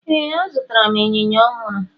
Ee, azụtara m ịnyịnya ọhụrụ.